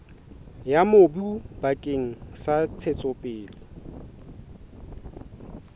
ya mobu bakeng sa ntshetsopele